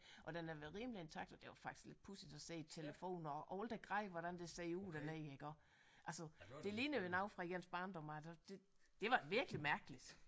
Og den har været rimelig intakt og det var faktisk lidt pudsigt at se telefoner og alt det grej hvordan det ser ud dernede iggå altså det ligner jo noget fra ens barndom af det det var virkelig mærkeligt